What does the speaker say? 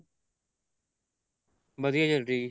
ਵਧੀਆ ਚੱਲ ਰਹੀ ਹੈ